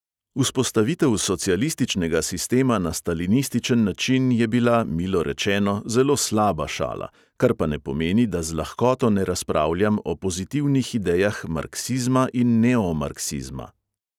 Vzpostavitev socialističnega sistema na stalinističen način je bila, milo rečeno, zelo slaba šala, kar pa ne pomeni, da z lahkoto ne razpravljam o pozitivnih idejah marksizma in neomarksizma.